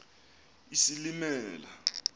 isilimela